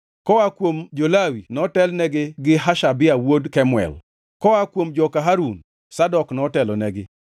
koa kuom jo-Lawi notelnigi gi Hashabia wuod Kemuel; koa kuom joka Harun: Zadok notelonegi;